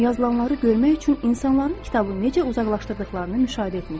Yazılanları görmək üçün insanların kitabı necə uzaqlaşdırdıqlarını müşahidə etmişdim.